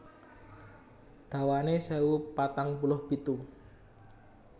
Dawané sewu patang puluh pitu